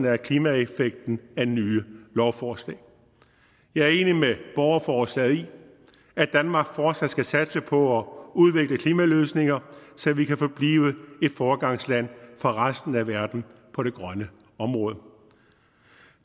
af klimaeffekten af nye lovforslag jeg er enig med borgerforslaget i at danmark fortsat skal satse på at udvikle klimaløsninger så vi kan forblive et foregangsland for resten af verden på det grønne område